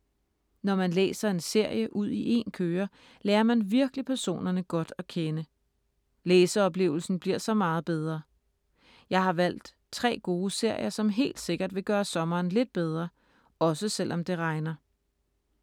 Når man læser en serie ud i en køre, lærer man virkelig personerne godt at kende. Læseoplevelsen bliver så meget bedre. Jeg har valgt tre gode serier, som helt sikkert vil gøre sommeren lidt bedre, også selvom det regner.